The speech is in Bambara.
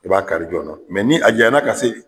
I b'a kari jɔɔna ni a janyana ka se